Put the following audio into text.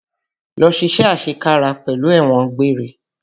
Lọ ṣiṣé àṣekára pẹ̀lú ẹ̀wọ̀n àgbéré!